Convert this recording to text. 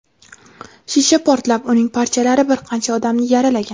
Shisha portlab, uning parchalari bir qancha odamni yaralagan.